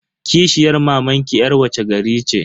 Kishiyar mamanki yar wace gari ce?